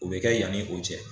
O be kɛ yanni o cɛ